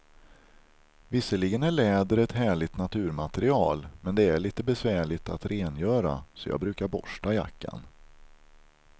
Visserligen är läder ett härligt naturmaterial, men det är lite besvärligt att rengöra, så jag brukar borsta jackan.